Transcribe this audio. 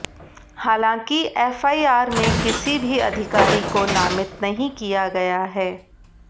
हालांकि एफआईआर में किसी भी अधिकारी को नामित नहीं किया गया है